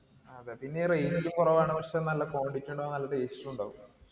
അതെ പിന്നെ ഈ കൊറവാണ് പക്ഷേ നല്ല quantity ഉം ഉണ്ടാവും നല്ല taste ഉം ഉണ്ടാവും